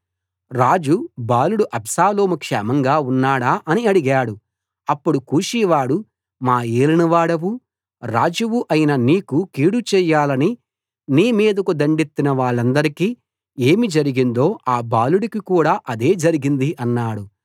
రాజు బాలుడు అబ్షాలోము క్షేమంగా ఉన్నాడా అని అడిగాడు అప్పుడు కూషీవాడు మా ఏలినవాడవు రాజువు అయిన నీకు కీడు చేయాలని నీ మీదకు దండెత్తినవాళ్ళందరికీ ఏమి జరిగిందో ఆ బాలుడికి కూడా అదే జరిగింది అన్నాడు